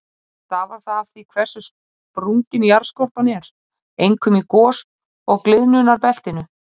Stafar það af því hversu sprungin jarðskorpan er, einkum í gos- og gliðnunarbeltinu.